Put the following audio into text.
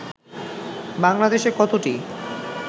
বাংলাদেশে কতটি